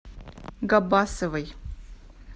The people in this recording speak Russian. габбасовой